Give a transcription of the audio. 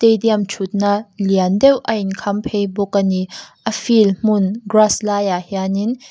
dium thutna lian deuh a inkham phei bawk a ni a field hmun grass laiah hianin --